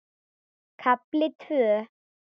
KAFLI TVÖ